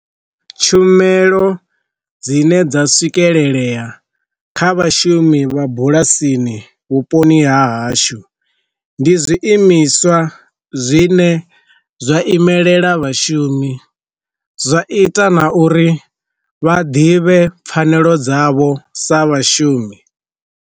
Tshumelo dzine dza swikelelea kha vhashumi vha bulasini vhuponi ha hashu, ndi zwiimiswa zwine zwa imelela vhashumi zwa ita na uri vha ḓivhe pfanelo dzavho sa vhashumi.